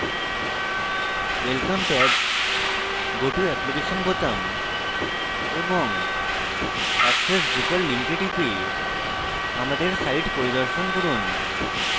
welcome tab go to application বোতাম এবং access drupal লিঙ্কে টিপে আমাদের সাইট পরিদর্শন করুন